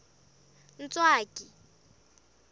ntswaki